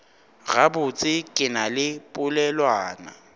gabotse ke na le polelwana